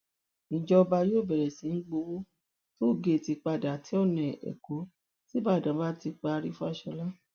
ìjọba yóò bẹrẹ sí í gbowó tóogéètì padà tí ọnà ẹkọ ṣíbàdàn bá ti parí fáṣọlá